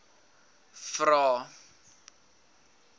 vvvvrae